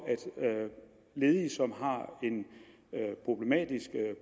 ledige som har en problematisk